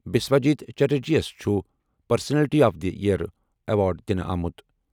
بساوجیت چٹرجی یَس چھُ personality of the year award دِنہٕ آمُت۔